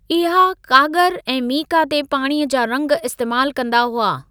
इहे काॻरु ऐं मीका ते पाणीअ जा रंगु इस्तेमालु कंदा हुआ।